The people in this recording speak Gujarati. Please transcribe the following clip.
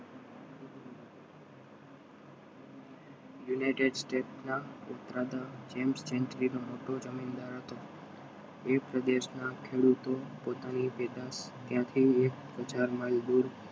યુનાઇટેડ સ્ટેટ્સના ઉભરાતા જેમ્સ જમીનદાર હતો એ પ્રદેશના ખેડૂતો પોતાની ત્યાંથી એક હજાર માઈલ દૂર